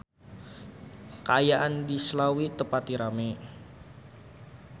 Kaayaan di Slawi teu pati rame